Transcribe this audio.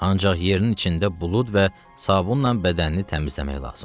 Ancaq yerinin içində bulud və sabunla bədənini təmizləmək lazımdır.